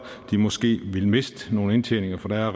måske ville miste noget indtjening for der